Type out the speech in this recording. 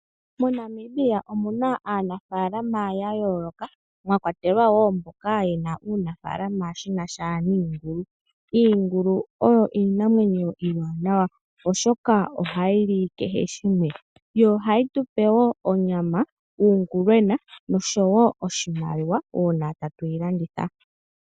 MoNamibia omuna aanafaalama yaayooloka mwakwatelwa woo mboka yena uunafaalama wunasha niingulu. Iingulu oyo iinamwenyo iiwaanawa oshoka ohaayi li kehe shimwe. Ohayi tupe woo onyama, uungulwena noshowo iimaliwa uuna tatuyi landitha.